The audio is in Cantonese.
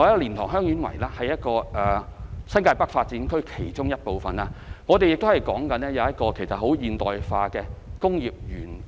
蓮塘/香園圍是新界北發展區其中一部分，將用作發展現代化工業園。